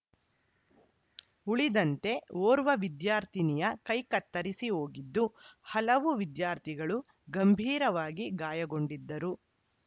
ಉಳಿದಂತೆ ಓರ್ವ ವಿದ್ಯಾರ್ಥಿನಿಯ ಕೈ ಕತ್ತರಿಸಿ ಹೋಗಿದ್ದು ಹಲವು ವಿದ್ಯಾರ್ಥಿಗಳು ಗಂಭೀರವಾಗಿ ಗಾಯಗೊಂಡಿದ್ದರು